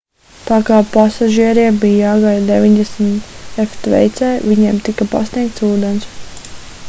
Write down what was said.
tā kā pasažieriem bija jāgaida 90 °f tveicē viņiem tika pasniegts ūdens